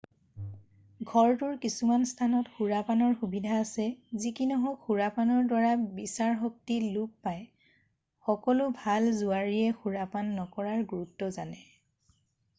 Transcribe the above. ঘৰটোৰ কিছুমান স্থানত সুৰাপানৰ সুবিধা আছে যি কি নহওক সুৰাপানৰ দ্বাৰা বিচাৰ শক্তি লোপ পায় সকলো ভাল জুৱাৰীয়ে সুৰাপান নকৰাৰ গুৰুত্ব জানে